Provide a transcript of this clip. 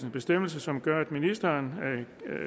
bestemmelse som gør at ministeren